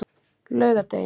laugardegi